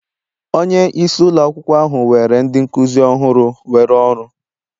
Onye isi ụlọ akwụkwọ ahụ were ndị nkuzi ọhụrụ were ọrụ